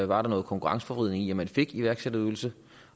var der noget konkurrenceforvridende i at man fik iværksætterydelse